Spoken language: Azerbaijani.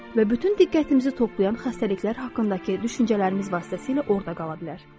Və bütün diqqətimizi toplayan xəstəliklər haqqındakı düşüncələrimiz vasitəsilə orda qala bilər.